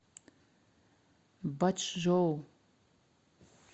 бачжоу